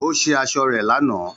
Ó ṣe aṣọ rẹ̀ lánàá